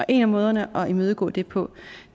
en af måderne at imødegå det på